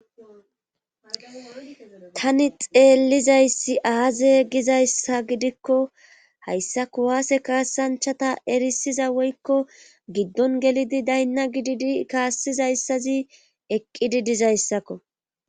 Tani xeellizayssi aaze gizayssa gidikko hayssako waase kaassanchata erisiza woykko giddon gelidi daynna gididi kaassizayssazi eqqi didizayssakko